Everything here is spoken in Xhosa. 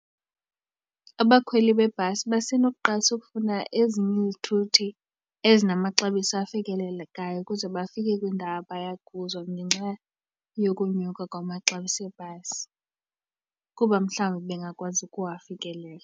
Abakhweli bebhasi basenokuqalisa ukufuna ezinye izithuthi ezinamaxabiso afikelelekayo ukuze bafike kwindawo abaya kuzo ngenxa yokonyuka kwamaxabiso ebhasi kuba mhlawumbi bengakwazi ukuwafikelela.